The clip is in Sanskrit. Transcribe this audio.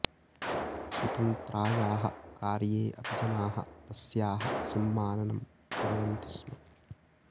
स्वतन्त्रायाः कार्ये अपि जनाः तस्याः सम्माननं कुर्वन्ति स्म